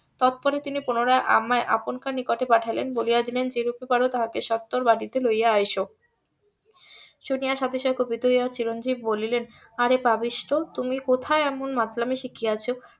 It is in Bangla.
তৎপরে তিনি পুনরায় আমায় আপনকার নিকটে পাঠালেন বলিয়া দিলেন যেরূপে পারো তাহাকে সত্তর বাটিতে লইয়া আইস শুনিয়া . কুপিত হইয়া চিরঞ্জিব বলিলেন অরে পাপিষ্ঠ তুমি কোথায় এমন মাতলামি শিখিয়াছো